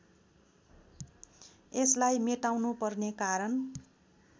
यसलाई मेटाउनुपर्ने कारण